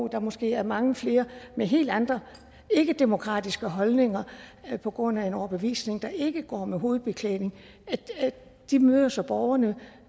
der måske er mange flere med helt andre ikkedemokratiske holdninger på grund af en overbevisning der ikke går med hovedbeklædning de møder så borgerne